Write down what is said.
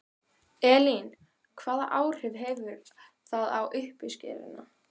Elín: Hvaða áhrif hefur það á uppskeruna?